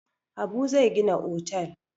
Habu zai gina otel.